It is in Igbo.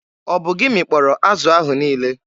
Ọ bụ gị mịkpọrọ azụ ahụ niile?